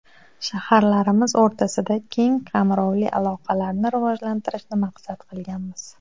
Shaharlarimiz o‘rtasida keng qamrovli aloqalarni rivojlantirishni maqsad qilganmiz.